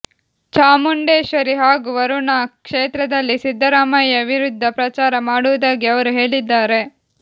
ಚಾಮುಂಡೇಶ್ವರಿ ಹಾಗೂ ವರುಣಾ ಕ್ಷೇತ್ರದಲ್ಲಿ ಸಿದ್ದರಾಮಯ್ಯ ವಿರುದ್ಧ ಪ್ರಚಾರ ಮಾಡುವುದಾಗಿ ಅವರು ಹೇಳಿದ್ದಾರೆ